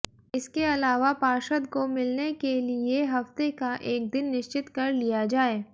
इसके अलावा पार्षद को मिलने के लिए हफ्ते का एक दिन निश्चित कर लिया जाए